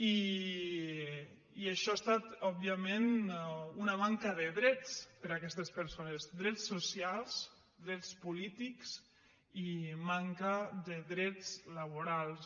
i això ha estat òbviament una manca de drets per aquestes per·sones drets socials drets polítics i manca de drets la·borals